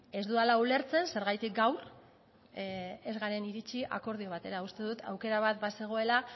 ez dudala ulertzen zergatik gaur ez garen iritzi akordio batera uste dut aukera bat bazegoela